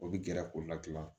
O bɛ gɛrɛ k'o ladilan